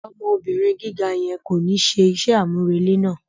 Ọmọ obìrin gíga yẹn ko ni ṣe iṣẹ amurele náà.